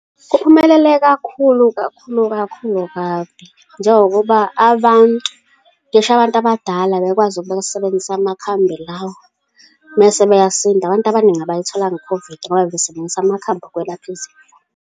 Kuphumelele kakhulu, kakhulu, kakhulu kabi, njengokuba abantu, ngisho abantu abadala bebekwazi ukuba basebenzise amakhambi lawa, mese beyasinda. Abantu abaningi abayitholanga i-COVID ngoba bebesebenzisa amakhambi ukwelapha izifo.